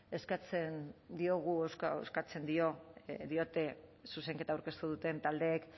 eskatzen diote zuzenketa aurkeztu duten taldeek